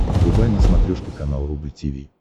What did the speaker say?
врубай на смотрешке канал рубль ти ви